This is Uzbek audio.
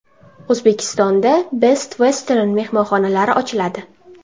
O‘zbekistonda Best Western mehmonxonalari ochiladi.